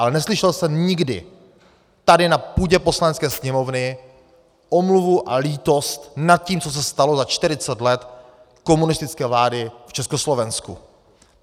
Ale neslyšel jsem nikdy tady na půdě Poslanecké sněmovny omluvu a lítost nad tím, co se stalo za 40 let komunistické vlády v Československu.